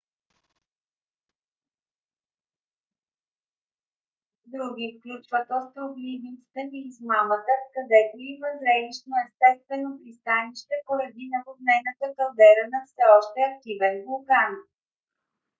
други включват остров ливингстън и измамата където има зрелищно естествено пристанище поради наводнената калдера на все още активен вулкан